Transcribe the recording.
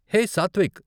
హే Satvik!